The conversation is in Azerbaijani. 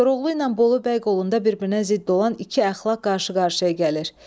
Koroğlu ilə Bolu bəy qolunda bir-birinə zidd olan iki əxlaq qarşı-qarşıya gəlir.